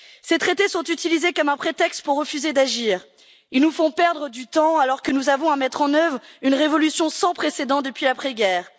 Ces traités sont utilisés comme un prétexte pour refuser d'agir, ils nous font perdre du temps alors que nous avons à mettre en œuvre une révolution sans précédent depuis l'après guerre.